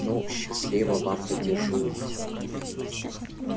ну счастливо вам додежурить